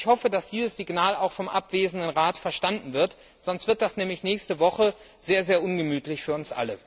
Ich hoffe, dass dieses Signal auch vom abwesenden Rat verstanden wird, sonst wird das nämlich nächste Woche sehr ungemütlich für uns alle.